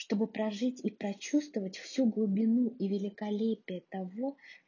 чтобы прожить и прочувствовать всю глубину и великолепие того